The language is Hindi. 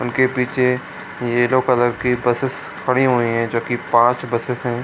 उनके पीछे येलो कलर की बसस खड़ी हुई हैं जो कि पांच बसस है ।